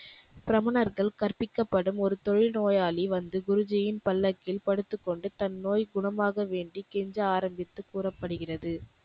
கிரமனர்கள் கற்ப்பிக்கப்படும் ஒரு தொழு நோயாளி வந்து குருஜியின் பல்லக்கில் படுத்துக்கொண்டு தன் நோய் குணமாக வேண்டி கெஞ்ச ஆரம்பித்து கூறப்படுகிறது.